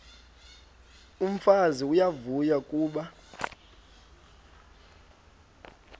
umfazi uyavuya kuba